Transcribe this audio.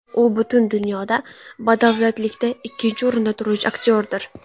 U butun dunyoda badavlatlikda ikkinchi o‘rinda turuvchi aktyordir.